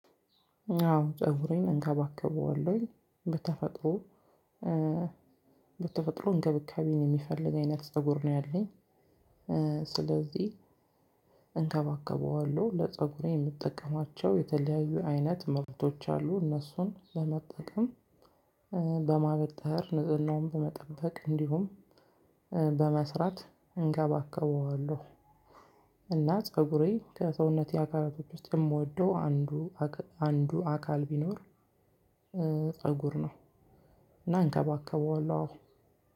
አዎ ፀጉሬን እንከባከበዋለሁኝ በተፈጥሮ በተፈጥሮ እንገብካቤን የሚፈልግ አይነት ፀጉር ነው ያለኝ። ስለዚህ እንከባከበዋለሁ ለፀጉሬ የምጠቀማቸው የተለያዩ አይነት መብቶች አሉ። እነሱን ለመጠቀም በማበጠር ንጽህናውን በመጠበቅ እንዲሁም በመስራት እንከባከበዋለሁ። እና ፀጉሬ ከሰውነቴ አካላቶች ውስጥ የምወደው አንዱ አንዱ አካል ቢኖር ፀጉር ነው። እና እንከባከበዋለው።